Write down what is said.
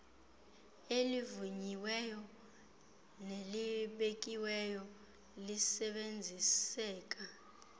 elivunyiweyo nelibekiweyo lisebenziseka